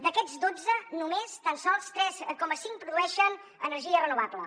d’aquets dotze només tan sols tres coma cinc produeixen energia renovable